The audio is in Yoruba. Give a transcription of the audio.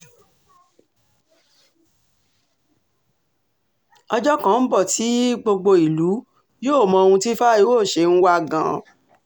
ọjọ́ kan ń bọ̀ tí um gbogbo ìlú yóò mọ ohun tí fáyọ̀ṣe ń um wá gan-an